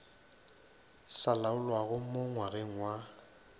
sa laolwago mo ngwageng wa